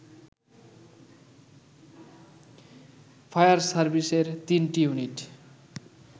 fire সার্ভিসের ৩টি unit